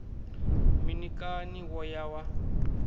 mini kani wo ya wa